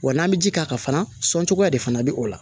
Wa n'an bɛ ji k'a kan fana sɔncogoya de fana bɛ o la